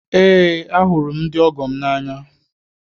Eé, ahụrụ m ndị ọgọ m n'anya